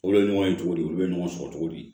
Olu ye ɲɔgɔn ye cogo di olu ye ɲɔgɔn sɔrɔ cogo di